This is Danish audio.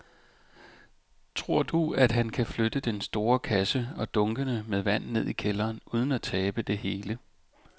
Tror du, at han kan flytte den store kasse og dunkene med vand ned i kælderen uden at tabe det hele?